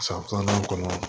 San filanan kɔnɔ